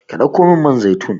Ka ɗauko min man zaitun